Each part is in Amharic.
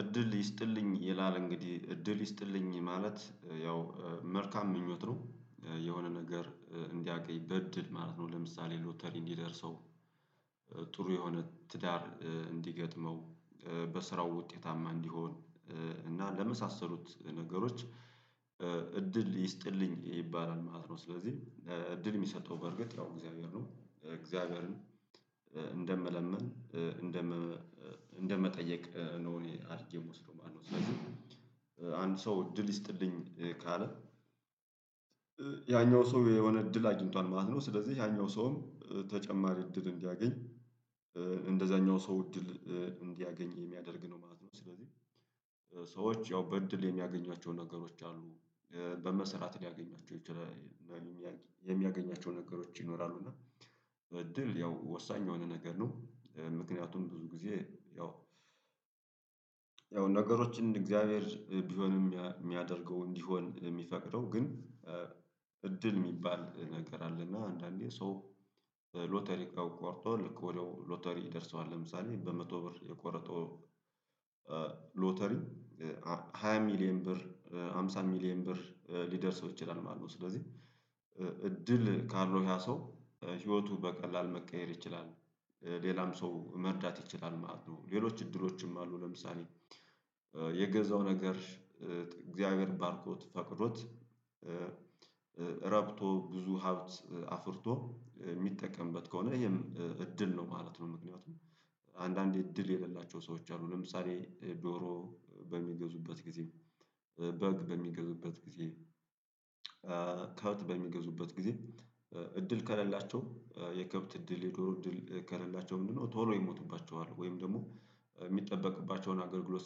እድል ይስጥልኝ ይላል እንግዲህ እድል ይስጥልኝ ማለት ያው መልካም ምኞት ነው የሆነ ነገር እንዲያውቅ ይበድድ ማለት ነው። ለምሳሌ ሎተሪ እንዲደርሰው የሆነ ትዳር እንዲገጥመው በስራው ውጤታማ እንዲሆን እና ለመሳሰሉት ነገሮች እድል ይስጥልኝ ይባላል ማለት ነው። ስለዚህ እድል የሚሰጠው በርግጥ ያው እግዚአብሔር ነው እግዚአብሔርን እንደምለምን እንደመጠየቅ ነው እኔ አርጌ የምወስደው ማለት ነው። ስለዚህ አንድ ሰው እድል ይስጥልኝ ካለ ያኛው ሰው የሆነ እድል አግኝቷል ማለት ነው። ስለዚህ ያኛው ሰውም ተጨማሪ እድል እንዲያገኝ እንደዛኛው ሰው እድል እንዲያገኝ የሚያደርግ ነው ማለት ነው። ስለዚህ ሰዎች ያው በእድል የሚያገኟቸው ነገሮች አሉ በመሰራት ሊያገኟቸው ይችላል የሚያገኟቸው ነገሮች ይኖራሉ። እና እድል ያው ወሳኝ የሆነ ነገር ነው። ምክንያቱም ብዙ ጊዜ ያው ያው ነገሮችን እግዚአብሔር ቢሆንም የሚያደርገው እንዲሆን የሚፈቅደው ግን እድል የሚባል ነገር አለና አንዳንዴ ሶ ሎተሪ ቆርጦ ልክ ወደው ሎተሪ ይደርሰዋል ለምሳሌ በመቶ ብር የቆረጠው ሎተሪ ሃያ ሚሊየን ብር አምሳ ሚሊየን ብር ሊደርስ ሰው ይችላል ማለት ነው። ስለዚህ እድል ካለው ያ ሰው ህይወቱ በቀላል መቀየር ይችላል ሌላም ሰው መርዳት ይችላል ማለት ነው። ሌሎች እድሎችም አሉ ለምሳሌ የገዛው ነገር እግዚአብሔር ባርኮት ፈቅዶት ረብቶ ብዙ ሀብት አፍርቶ የሚጠቀምበት ከሆነ ይሄም እድል ነው ማለት ነው። ምክንያቱም አንዳንዴ እድል የሌላቸው ሰዎች አሉ ለምሳሌ ዶሮ በሚገዙበት ጊዜ በግ በሚገዙበት ጊዜ ከብት በሚገዙበት ጊዜ እድል ከሌላቸው የከብት እድል የዶሮ እድል ከሌላቸው ምንድነው? ቶሎ ይሞቱባቸዋል ወይም ደግሞ የሚጠበቅባቸውን አገልግሎት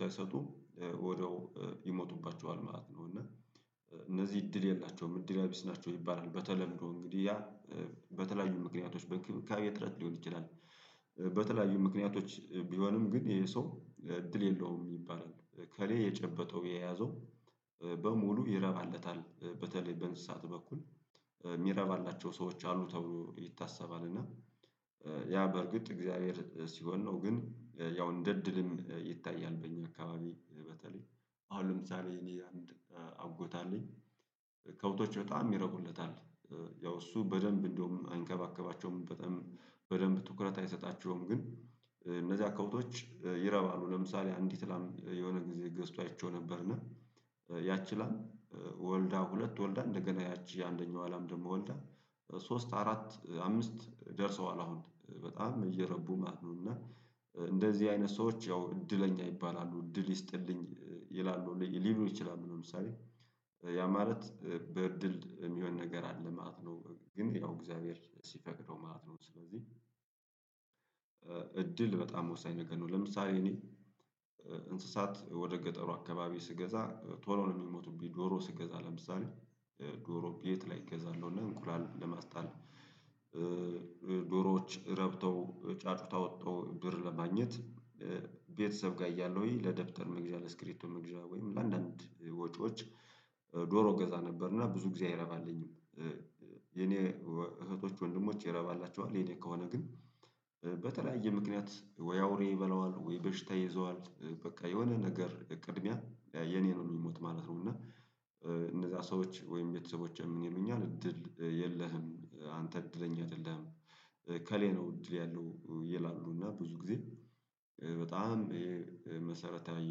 ሳይሰጡ ወደው ይሞቱባቸዋል ማለት ነው። እና እነዚህ እድል የላቸውም እድለቢስ ናቸው ይባላል። በተለምዶ እንግዲህ ያ በተለያዩ ምክንያቶች በእንክብካቤ እጥረት ሊሆን ይችላል። በተለያዩ ምክንያቶች ቢሆንም ግን ይሄ ሰው እድል የለውም ይባላል። እከሌ የጨበጠው የያዘው በሙሉ ይረባለታል በተለይ በእንስሳት በኩል የሚረባላቸው ሰዎች አሉ ተብሎ ይታሰባል። እና ያ በርግጥ እግዚአብሔር ሲሆን ነው ግን ያው እንደ እድልም ይታያል በእኛ አካባቢ በተለይ አሁን ለምሳሌ እኔ አንድ አጎት አለኝ ከብቶች በጣም ይረቁለታል። ያው እሱ በደንብ እንደውም አይንከባከባቸውም በጣም በደንብ ትኩረት አይሰጣቸውም ግን እነዚህ ከብቶች ይረባሉ ለምሳሌ አንዲት ላም የሆነ ጊዜ ገዝቶ አይቼው ነበርን ያቺ ላይ ወልዳ ሁለት ወልዳ እንደገና ያቺ አንደኛው አላም ደግሞ ወልዳ ሶስት አራት አምስት ደርሰዋል አሁን በጣም እየረቡ ማለት ነው። እና እንደዚህ አይነት ሰዎች ያው እድለኛ ይባላሉ እድል ይስጥልኝ ይላሉ ሊሉ ይችላሉ ለምሳሌ ያ ማለት በእድል የሚሆን ነገር አለ ማት ነው ግን ያው እግዚአብሔር ሲፈቅደው ማለት ነው። ስለዚህ እድል በጣም ወሳኝ ነገር ነው። ለምሳሌ እኔ እንስሳት ወደ ገጠሩ አካባቢ ስገዛ ቶሎ ነው የሚሞቱብኝ ዶሮ ስገዛ ለምሳሌ ዶሮ ቤት ላይ እገዛለሁ እና እንኩላል ለማስጣል ዶሮዎች ረብተው ጫጩት አውጥተው ብር ለማግኘት ቤተሰብ ጋር እያለሁኝ ለደብተር መግዣ ለስክሪቢቶ መግዣ ወይም ለአንዳንድ ወጪዎች ዶሮ እገዛ ነበርና ብዙ ጊዜ አይረባልኝም። የኔ እህቶች ወንድሞች ይረባላቸዋል የኔ ከሆነ ግን በተለያየ ምክንያት ወይ አውሬ ይበለዋል ወይ በሽታ ይዘዋል በቃ የሆነ ነገር ቅድሚያ የኔ ነወ ሚሞት ማለት ነው። እና እነዛ ሰዎች ወይም ቤተሰቦቼ ምን ይሉኛል እድል የለህም አንተ እድለኛ አይደለህም። እከሌ ነው እድል ያለው ይላሉ እና ብዙ ጊዜ በጣም መሰረታዊ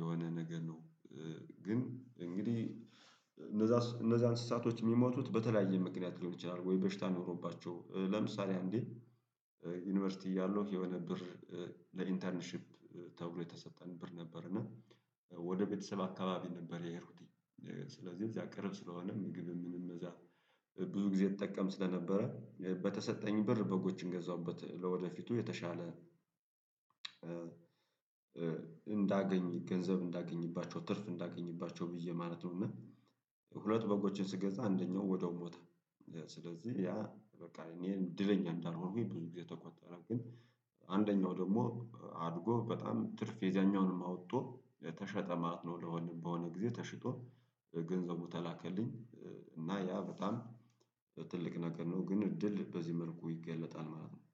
የሆነ ነገር ነው። ግን እንግዲህ እነዛ እነዛ እንስሳቶች የሚሞቱት በተለያየ ምክንያት ሊሆን ይችላል ወይ በሽታ ኖሮባቸው ለምሳሌ አንዴ ዩኒቨርሲቲ እያለሁ የሆነ ብር ለኢንተርንሺፕ ተብሎ የተሰጠን ብር ነበር እና ወደ ቤተሰብ አካባቢ ነበር የሄድኩት ስለዚህ እዚያ ቅርብ ስለሆነ ምግብ ምንም እዛ ብዙ ጊዜ እጠቀም ስለነበረ በተሰጠኝ ብር በጎችን ገዛሁበት። ለወደፊቱ የተሻለ እንዳገኝ ገንዘብ እንዳገኝባቸው ትርፍ እንዳገኝባቸው ብዬ ማለት ነው። እና ሁለት በጎችን ስገዛ አንደኛው ወዲያው ሞተ። ስለዚህ ያ በቃ እኔ እንድለኛ እንዳልሆንኩኝ ብዙ ጊዜ ተቆጠረ ግን አንደኛው ደግሞ አድጎ በጣም ትርፍ የዛኛውንም አውጦ ተሸጠ ማለት ነው። ለሆነ በሆነ ጊዜ ተሽጦ ገንዘቡ ተላከልኝ። እና ያ በጣም ትልቅ ነገር ነው ግን እድል በዚህ መልኩ ይገለጣል ማለት ነው